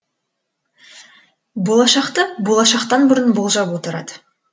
болашақты болашақтан бұрын болжап отырады